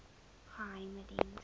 geheimediens